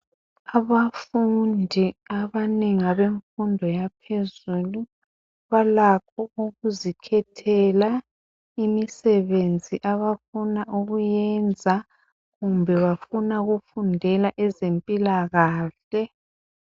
Abafundi abanengi abemfundo yaphezulu balakho ukuzikhethela imisebenzi abafuna ukuyenza kumbe bafuna ukufundela ezempilakahle